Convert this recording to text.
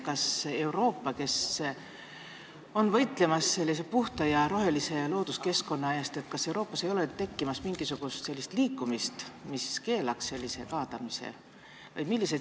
Kas Euroopas, kus võideldakse puhta ja rohelise looduskeskkonna eest, ei ole tekkimas mingisugust liikumist, mis keelaks sellise kaadamise?